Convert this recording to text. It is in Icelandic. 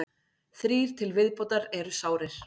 Þrír til viðbótar eru sárir